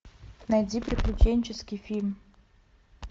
найди приключенческий фильм